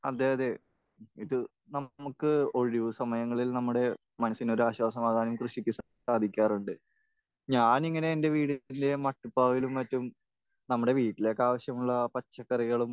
അതെ. അതെ. ഇത് നമുക്ക് ഒഴിവ് സമയങ്ങളിൽ നമ്മുടെ മനസ്സിനൊരാശ്വാസമാകാൻ കൃഷിക്ക് സാധിക്കാറുണ്ട്. ഞാൻ ഇങ്ങനെ എന്റെ വീട്ടിലെ മട്ടുപ്പാവിലും മറ്റും നമ്മുടെ വീട്ടിലേക്ക് ആവശ്യമുള്ള പച്ചക്കറികളും